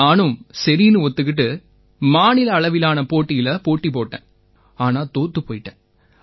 நானும் சரின்னு ஒத்துக்கிட்டு மாநில அளவிலான போட்டியில போட்டி போட்டேன் ஆனா தோத்துப் போயிட்டேன்